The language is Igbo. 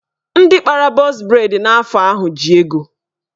Ndị kpara bọz breid n'afọ ahụ ji ego.